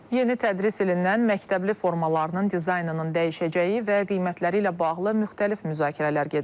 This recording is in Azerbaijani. Yeni tədris ilindən məktəbli formalarının dizaynının dəyişəcəyi və qiymətləri ilə bağlı müxtəlif müzakirələr gedir.